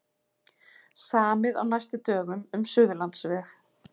Samið á næstu dögum um Suðurlandsveg